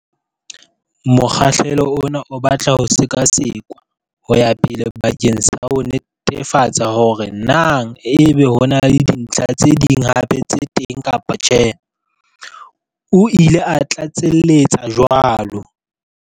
Mokgahlelo ona o batla ho sekasekwa ho ya pele bakeng sa ho netefatsa hore na ebe ho na le dintlha tse ding hape tse teng kapa tjhe, o ile a tlatseletsa jwalo.